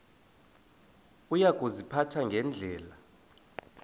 uya kuziphatha ngendlela